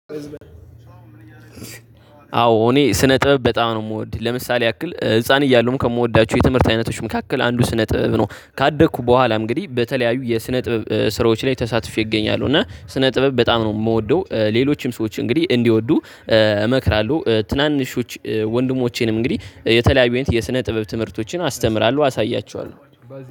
አዎ እኔ ስነ ጥበብ በጣም ነው። የምወድ ለምሳሌ ያክል ህፃን እያሉዉም ከምወዳቸው የትምህርት አይነቶች መካከል አንዱ ስነ ጥበብ ነው። ካደኩ በኋላ እንግዲህ በተለያዩ የስነ ጥበብ ስራዎች ላይ ተሳትፌ እገኛለሁ። እና ስነ ጥበብ በጣም ነው የምወደው። ሌሎችም ሰዎች እንግዲህ እንዲወዱ እመክራለሁ። ትናንሾች ወንድሞቼንም እንግዲህ የተለያዩ የስነ ጥበብ ትምህርቶችን አስተምራለሁ። አሳያችኋለሁ